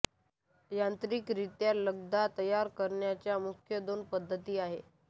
यांत्रिकरित्या लगदा तयार करण्याच्या मुख्य दोन पद्धती आहेत